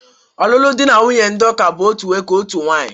Ọlụlụ dị na nwunye ndị ụka bụ otu nwoke, otu nwaanyị